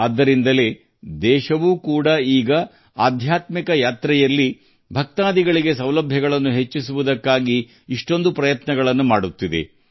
ಅದಕ್ಕಾಗಿಯೇ ದೇಶವು ಈಗ ತೀರ್ಥಯಾತ್ರೆಯಲ್ಲಿ ಭಕ್ತರಿಗೆ ಸೌಲಭ್ಯಗಳನ್ನು ಹೆಚ್ಚಿಸಲು ಅನೇಕ ಪ್ರಯತ್ನಗಳನ್ನು ಮಾಡುತ್ತಿದೆ